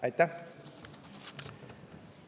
Aitäh!